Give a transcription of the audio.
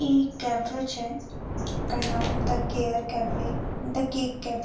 इ कैफ़े छे एकर नाम the care cafe the cake cafe.